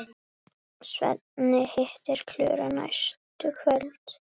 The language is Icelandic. Svenni hittir Klöru næstu kvöld.